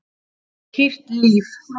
Hýrt líf